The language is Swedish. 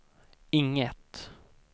inget